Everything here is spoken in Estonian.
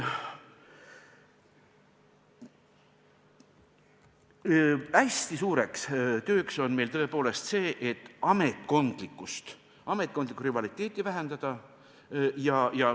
Hästi suur töö on meil tõepoolest see, et ametkondlikku rivaliteeti vähendada.